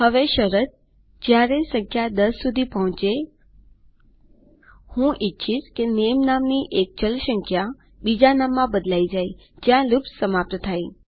હવે શરત જ્યારે સંખ્યા ૧૦ સુધી પોહચેહું ઈચ્છીશ કે નામે નામની એક ચલ સંખ્યાબીજા નામમાં બદલાય જાય જ્યાં લૂપ સમાપ્ત થાય